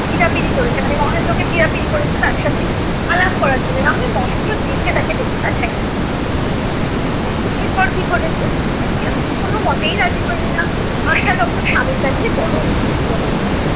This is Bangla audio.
পিরাপিরি করেছে মানে মহেন্দ্র কে পিরাপিরি করেছে তার সাথে আলাপ করার জন্য। না হলে মহেন্দ্র জেঁচে তাকে ডেকে পাঠায় নি। এর পর কি ঘটেছে, বিনোদিনী কোন মতেই রাজি হইলে না। আশা তখন স্বামীর কাছে বড় অপ্রতিভ হইল।